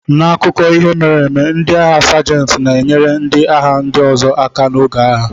N'akụkọ ihe mere eme, ndị agha sajenti na-enyere ndị agha ndị ọzọ aka n'oge agha.